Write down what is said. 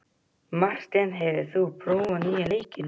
Marteinn, hefur þú prófað nýja leikinn?